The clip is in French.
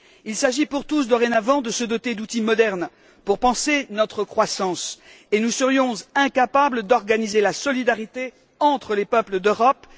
Il s'agit pour tous, dorénavant, de se doter d'outils modernes pour penser notre croissance, et nous serions incapables d'organiser la solidarité entre les peuples d'Europe?